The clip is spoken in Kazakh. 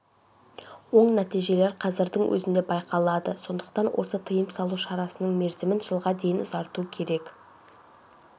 оң нәтижелер қазірдің өзінде байқалады сондықтан осы тыйым салу шарасының мерзімін жылға дейін ұзарту керек